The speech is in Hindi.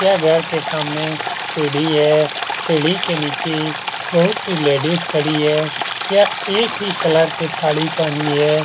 यह घर के सामने सीढ़ी है सीढ़ी के नीचे बहुत सी लेडीज खड़ी है यह एक ही कलर की साड़ी पहनी है ।